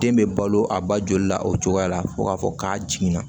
Den bɛ balo a ba joli la o cogoya la fo k'a fɔ k'a jiginna